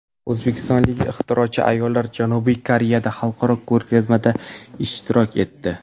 O‘zbekistonlik ixtirochi ayollar Janubiy Koreyadagi xalqaro ko‘rgazmada ishtirok etdi.